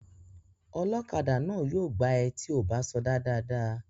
Ọlọ́kadà náà yóò gbá ẹ tí ò bá sọdá dáadáa